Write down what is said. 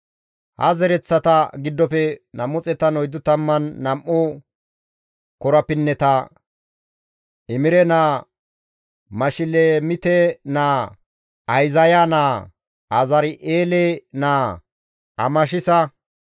Ha zereththata giddofe 242 korapinneta. Imere naa, Mashilemite naa, Ahizaya naa, Azari7eele naa, Amashisa,